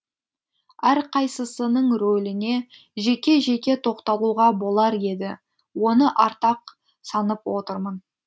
әрқайсысының рөліне жеке жеке тоқталуға болар еді оны артық санап отырмын